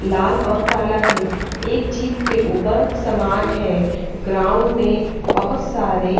लाल और काला है एक जीप के ऊपर समान है ग्राउंड में बहुत सारे--